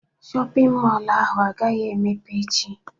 Shọpịn mọlụ ahụ agaghị emepe echi.